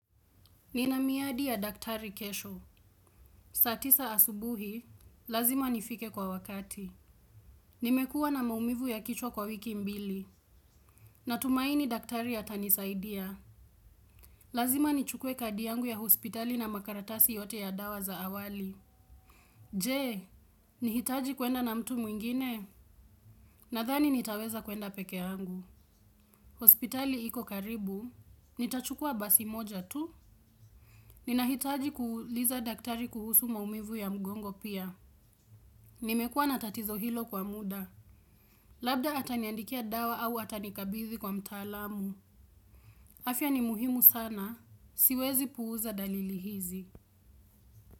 Ninamiadi ya daktari kesho. Saatisa asubuhi, lazima nifike kwa wakati. Nimekua na maumivu ya kichwa kwa wiki mbili. Natumaini daktari atanisaidia. Lazima nichukue kadi yangu ya hospitali na makaratasi yote ya dawa za awali. Je, nihitaji kwenda na mtu mwingine? Nadhani nitaweza kwenda pekee yangu. Hospitali iko karibu, nitachukua basi moja tu. Ninahitaji kuuliza daktari kuhusu maumivu ya mgongo pia. Nimekuwa na tatizo hilo kwa muda. Labda ataniandikia dawa au atanikabidhi kwa mtaalamu. Afya ni muhimu sana. Siwezi puuza dalili hizi.